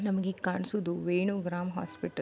ನಮಗೆ ಕಾಣುಸುದು ವೇಣು ಗ್ರಾಂ ಹಾಸ್ಪಿಟಲ್ .